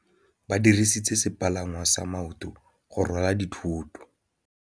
Ba dirisitse sepalangwasa maotwana go rwala dithôtô.